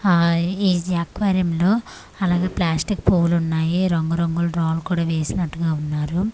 ఆ ఈ ఎక్వేరియం లో అలాగే ప్లాస్టిక్ పూలు ఉన్నాయి రంగు రంగు రాళ్ళు కూడా వేసినట్టుగా ఉన్నారు య--